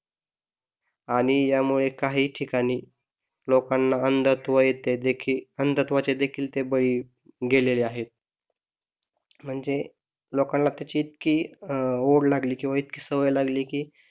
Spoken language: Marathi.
आणि यामुळे काही ठिकाणी लोकांना अंधत्व येते अंधत्वाचे देखील ते बळी गेलेले आहे म्हणजे लोकांना त्याची इतकी अह ओढ लागली किंवा इतकी सवय लागली की